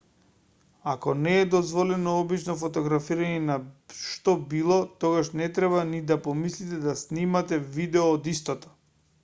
ако не е дозволено обично фотографирање на што било тогаш не треба ни да помислите да снимате видео од истото